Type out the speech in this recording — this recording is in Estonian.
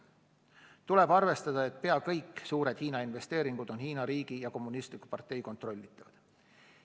Tuleb arvestada, et pea kõik suured Hiina investeeringud on Hiina riigi ja kommunistliku partei kontrollitavad.